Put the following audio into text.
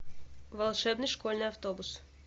волшебный школьный автобус